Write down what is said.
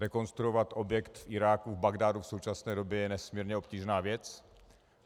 Rekonstruovat objekt v Iráku, v Bagdádu, v současné době je nesmírně obtížná věc.